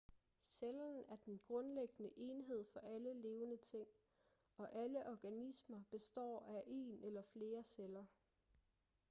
cellen er den grundlæggende enhed for alle levende ting og alle organismer består af en eller flere celler